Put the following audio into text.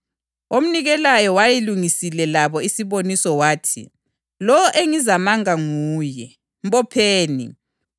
Omnikelayo wayelungisile labo isiboniso wathi: “Lowo engizamanga nguye; mbopheni.”